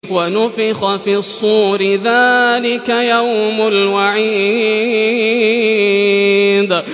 وَنُفِخَ فِي الصُّورِ ۚ ذَٰلِكَ يَوْمُ الْوَعِيدِ